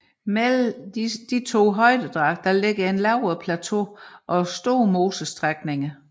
Mellem disse to højdedrag ligger lavere plateauer og store mosestrækninger